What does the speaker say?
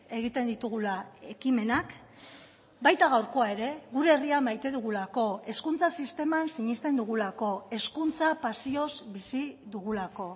egiten ditugula ekimenak baita gaurkoa ere gure herria maite dugulako hezkuntza sisteman sinesten dugulako hezkuntza pasioz bizi dugulako